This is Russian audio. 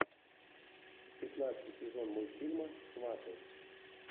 пятнадцатый сезон мультфильма сваты